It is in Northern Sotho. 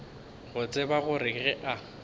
go tseba gore ge a